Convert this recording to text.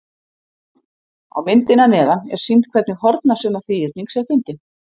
Á myndinni að neðan er sýnt hvernig hornasumma þríhyrnings er fundin.